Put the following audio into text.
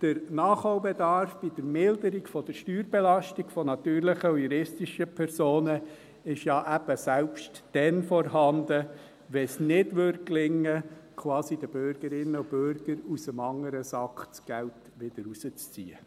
Der Nachholbedarf bei der Milderung der Steuerbelastung von natürlichen und juristischen Personen ist ja eben selbst dann vorhanden, wenn es nicht gelingen würde, den Bürgerinnen und Bürgern das Geld quasi aus dem anderen Sack wieder herauszuziehen.